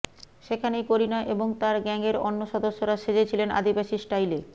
সেখানেই করিনা এবং তাঁর গ্যাংয়ের অন্য সদস্যরা সেজে ছিলেন আদিবাসী স্টাইলে